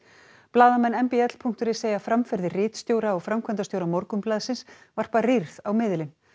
blaðamenn m b l punktur is segja framferði ritstjóra og framkvæmdastjóra Morgunblaðsins varpa rýrð á miðilinn